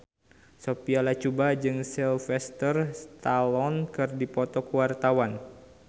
Sophia Latjuba jeung Sylvester Stallone keur dipoto ku wartawan